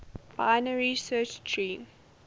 binary search tree